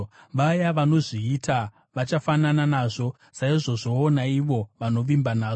Vaya vanozviita vachafanana nazvo, saizvozvowo, naivo vanovimba nazvo.